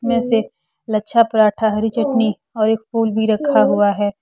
में से लच्छा पराठा हरी चटनी और एक फूल भी रखा हुआ है।